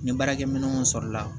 Ni baarakɛminɛnw sɔrɔla